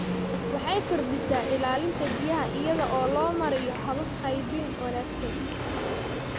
Waxay kordhisaa ilaalinta biyaha iyada oo loo marayo habab qaybin wanaagsan.